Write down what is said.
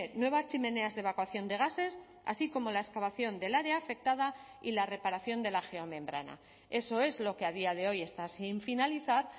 nuevas chimeneas de evacuación de gases así como la excavación del área afectada y la reparación de la geomembrana eso es lo que a día de hoy está sin finalizar